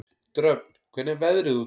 Dröfn, hvernig er veðrið úti?